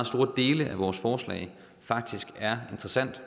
store dele af vores forslag faktisk er interessant